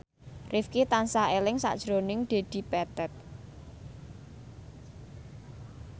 Rifqi tansah eling sakjroning Dedi Petet